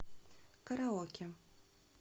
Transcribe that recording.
караоке